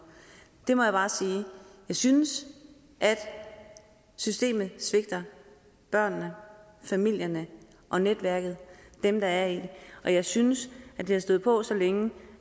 det må jeg bare sige jeg synes at systemet svigter børnene familierne og netværket dem der er i det og jeg synes det har stået på så længe